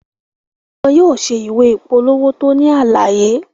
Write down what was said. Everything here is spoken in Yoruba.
Wọn yóò ṣe ìwé ìpolówó tó ní àlàyé